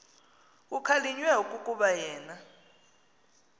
kukhalinywe kukuba yena